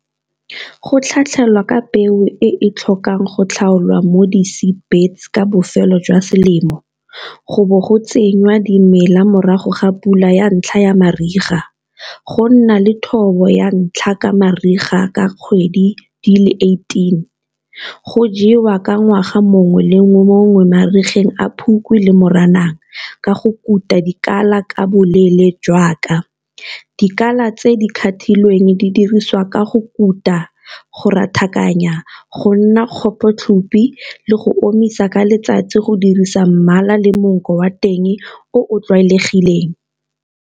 Go tlhatlhelwa ka peo e e tlhokang go tlhaolwa mo di ka bofelo jwa selemo, go bo go dimela morago ga pula ya ntlha ya mariga. Go nna le thobo ya ntlha ka mariga ka kgwedi di le eighteen, go jewa ka ngwaga mongwe le mongwe le mongwe marigeng a Phukwi le Moranang ka go kuta dikala ka boleele jaaka dikala tse di cut-ilweng di diriswa ka go ka kuta, go rathakanya, go nna le go omisa ka letsatsi go dirisa mmala le monko wa teng o o tlwaelegileng.